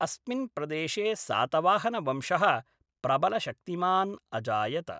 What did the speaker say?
अस्मिन् प्रदेशे सातवाहनवंशः प्रबलशक्तिमान् अजायत।